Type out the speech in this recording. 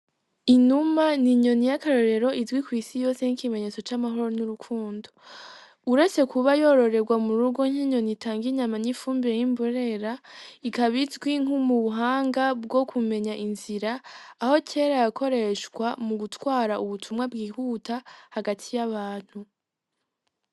Inuma n'inyoni y'akarorero izwi kw'isi yose nk'ikimenyetso c'amahoro n'urukundo, uretse kuba yororerwa mu rugo nk'inyoni itanga inyama n'ifumbire y’imburera, ikaba izwi nk'ubuhanga bwo kumenya inzira, aho kera yakoreshwa mu gutwara ubutumwa bwihuta hagati y'abantu.